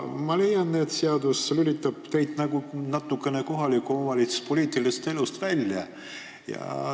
Ma leian, et seadus lülitab neid nagu natukene kohaliku omavalitsuse poliitilisest elust välja.